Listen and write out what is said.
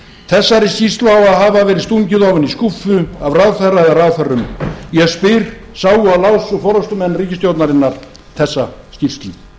þessari skýrslu á að hafa verið stungið ofan í skúffu af ráðherra eða ráðherrum ég spyr sáu og lásu forustumenn ríkisstjórnarinnar þessa skýrslu